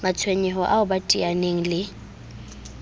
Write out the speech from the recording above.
matshwenyeho ao ba teaneng le